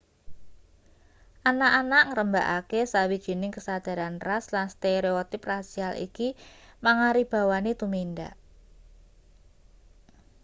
anak-anak ngrembakakake sawijining kesadaran ras lan stereotip rasial iki mangaribawani tumindak